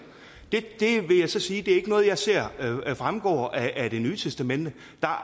det vil jeg så sige ikke er noget jeg ser fremgår af det nye testamente